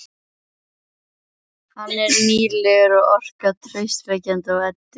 Hann er nýlegur og orkar traustvekjandi á Eddu.